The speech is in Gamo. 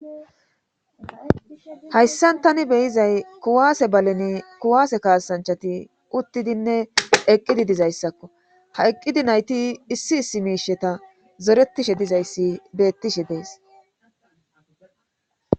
Hayssan tani beyizay kuwaase balen kuwaase kaasanchati uttidinne eqqidi dizayssakko ha eqqidi nayti issi issi miisheta zoretishe dizayssi beettishe dees